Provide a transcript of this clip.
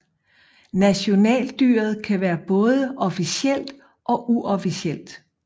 Nationaldyret kan være både officielt og uofficielt